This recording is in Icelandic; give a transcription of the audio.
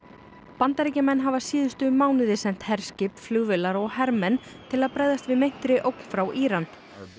Bandaríkjamenn hafa síðustu mánuði sent herskip flugvélar og hermenn til að bregðast við meintri ógn frá Íran